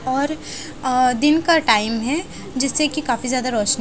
और अ दिन का टाइम है जिससे कि काफी ज्यादा रोशनी--